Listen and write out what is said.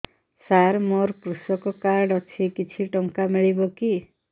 ସାର ମୋର୍ କୃଷକ କାର୍ଡ ଅଛି କିଛି ଟଙ୍କା ମିଳିବ କି